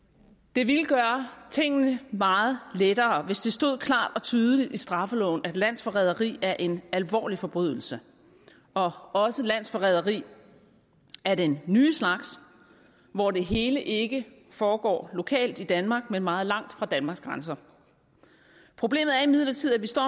det ville gøre tingene meget lettere hvis det stod klart og tydeligt i straffeloven at landsforræderi er en alvorlig forbrydelse og også landsforræderi af den nye slags hvor det hele ikke foregår lokalt i danmark men meget langt fra danmarks grænser problemet er imidlertid at vi står